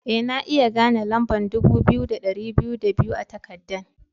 Eh, na iya gane lamba'n dubu biyu da dari biyu da biyu a'takadan.